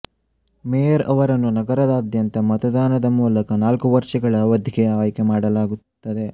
mayor ಅವರನ್ನು ನಗರದಾದ್ಯಂತದ ಮತದಾನದ ಮೂಲಕ ನಾಲ್ಕು ವರ್ಷಗಳ ಅವಧಿಗೆ ಆಯ್ಕೆ ಮಾಡಲಾಗುತ್ತದೆ